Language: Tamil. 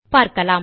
பார்க்கலாம்